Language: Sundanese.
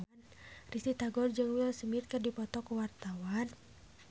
Risty Tagor jeung Will Smith keur dipoto ku wartawan